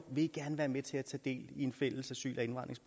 vil i gerne være med til at tage del i en fælles asyl